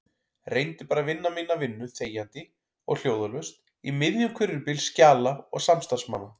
Reyndi bara að vinna mína vinnu þegjandi og hljóðalaust í miðjum hvirfilbyl skjala og samstarfsmanna.